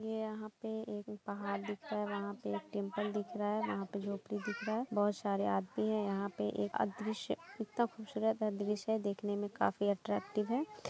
ये यहां पे एक पहाड़ दीखता है वहां पे एक टेम्पल दिख रहा है वहां पे झोंपड़ी दिख रहा है बहुत सरे आदमी है यहाँ पे एक एक अदृश्य इतना खूबसूरत दृश्य है देखने मैं काफी अट्रैक्टिव है ।